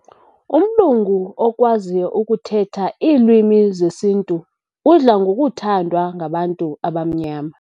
Umlungu okwaziyo ukuthetha iilwimi zesintu udla ngokuthandwa ngabantu abamnyama.